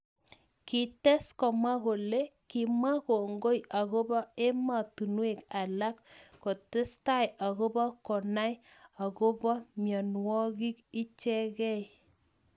Kites komwa kole kimwae kongoi akobo ematunwek alak kutestai akobo konai akobo mnyenwokik ichekei